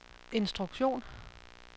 instruktion